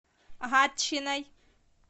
гатчиной